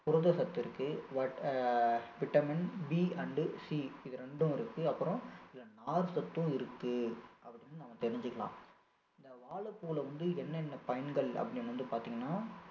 புரதச்சத்து இருக்கு வட்~ vitamin B and C இது ரெண்டும் இருக்கு அப்புறம் இதுல நார் சத்தும் இருக்கு அப்படின்னு வந்து நம்ம தெரிஞ்சிக்கலாம் இந்த வாழைப்பூல வந்து என்னென்ன பயன்கள் அப்படின்னு வந்து பாத்தீங்கன்னா